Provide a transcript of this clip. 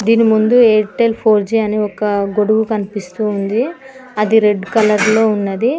దీని ముందు Airtel four G అని ఒక గొడుగు కనిపిస్తూ ఉంది అది రెడ్ కలర్లో ఉన్నది.